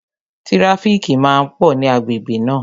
Tíráfíkì máa pò ní agbègbè náà